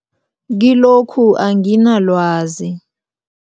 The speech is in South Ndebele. Kilokhu anginalwazi.